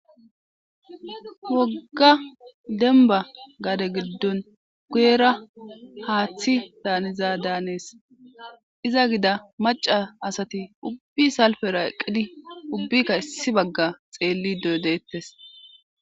Wogga dembba gade giddon guyera haathi daanizadanees iza gida macca asati ubbi salfera eqqidi ubbika issi bagga xeellido de'etes.